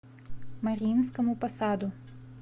мариинскому посаду